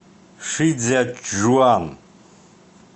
шицзячжуан